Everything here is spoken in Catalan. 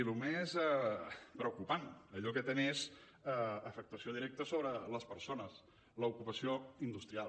i el més preocupant allò que té més afectació directa sobre les persones l’ocupació industrial